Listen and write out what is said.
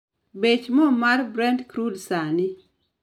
Bech mo mar brent crude sani